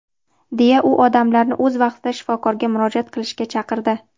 deya u odamlarni o‘z vaqtida shifokorga murojaat qilishga chaqirdi.